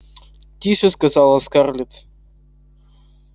тише сказала скарлетт